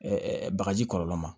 bagaji kɔlɔlɔ ma